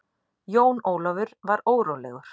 Jón Ólafur var órólegur.